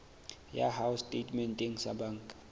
ya hao setatementeng sa banka